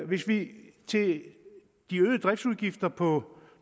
hvis vi til de øgede driftsudgifter på